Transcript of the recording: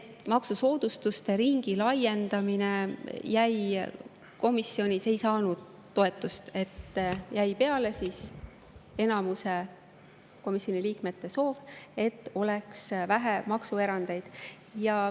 Maksusoodustuste ringi laiendamine ei saanud toetust, jäi peale enamuse komisjoni liikmete soov, et oleks vähe maksuerandeid.